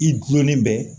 I gulonnen bɛ